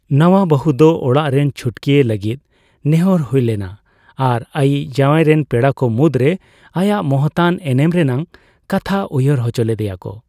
ᱱᱟᱣᱟ ᱵᱟᱹᱦᱩ ᱫᱚ ᱚᱲᱟᱜ ᱨᱮᱱ ᱪᱷᱩᱴᱠᱤᱭᱮ ᱞᱟᱹᱜᱤᱫ ᱱᱮᱦᱚᱨ ᱦᱳᱭᱞᱮᱱᱟ ᱟᱨ ᱟᱭᱤᱡ ᱡᱟᱣᱟᱭᱨᱮᱱ ᱯᱮᱲᱟᱠᱚ ᱢᱩᱫᱽᱨᱮ ᱟᱭᱟᱜ ᱢᱚᱦᱚᱛᱟᱱ ᱮᱱᱮᱢ ᱨᱮᱱᱟᱜ ᱠᱟᱛᱷᱟ ᱩᱭᱦᱟᱹᱨ ᱦᱚᱪᱚ ᱞᱮᱫᱮᱭᱟ ᱠᱚ ᱾